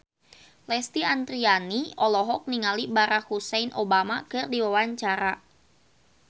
Lesti Andryani olohok ningali Barack Hussein Obama keur diwawancara